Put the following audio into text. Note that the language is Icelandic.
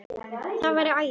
Það væri æði